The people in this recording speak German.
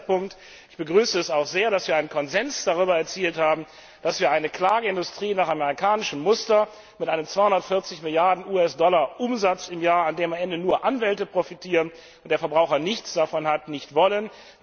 Ein allerletzter Punkt Ich begrüße es auch sehr, dass wir einen Konsens darüber erzielt haben, dass wir eine Klageindustrie nach amerikanischem Muster mit einem Umsatz von 240 Milliarden US Dollar im Jahr, von dem am Ende nur Anwälte profitieren und die Verbraucher gar nichts haben, nicht wollen.